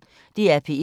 DR P1